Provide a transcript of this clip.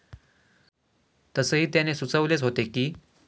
तसेही त्याने सुचवलेच होते की.